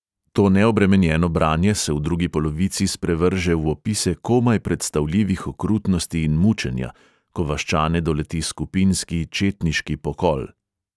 To neobremenjeno branje se v drugi polovici sprevrže v opise komaj predstavljivih okrutnosti in mučenja, ko vaščane doleti skupinski četniški pokol.